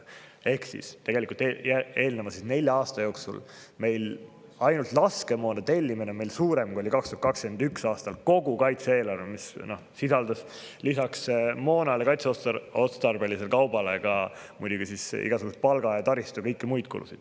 Ehk tegelikult on nelja aasta jooksul meil ainult laskemoonatellimus olnud suurem, kui oli 2021. aastal kogu kaitse-eelarve, mis sisaldas lisaks moonale ja kaitseotstarbelisele kaubale ka muidugi igasuguseid palga‑, taristu‑ ja kõiki muid kulusid.